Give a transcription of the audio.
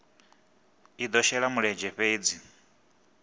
i do shela mulenzhe fhedzi